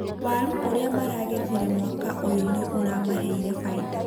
Waaru iria maragethire mwaka ũyũ nĩ ũramaheire baida